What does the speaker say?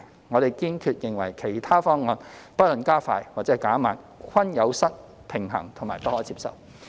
我們堅決認為其他方案，不論加快或減慢，均有失平衡及不可接受。